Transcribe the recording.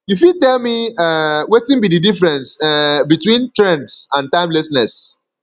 you fit tell me um wetin be di difference um between trends and timelessness